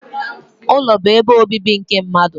Ụlọ bu ebe obibi nke mmadụ